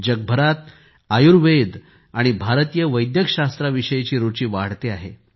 जगभरात आयुर्वेद आणि भारतीय वैद्यकशास्त्राविषयीची रुचि वाढटे आहे